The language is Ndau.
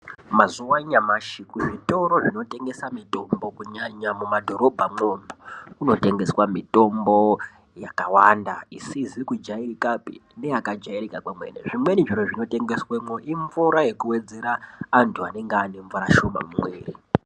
Mazuva anyamashi kuzvitoro zvinotengesa mitombo kunyanya mumadhorobhamwo kunotengeswa mitombo yakawanda isizikujairikapi neyakajairika kwemene zvimweni zviro zvinotengeswemwo imvura yekuwedzera vantu vanonga vaane mvura shoma mumwiiri.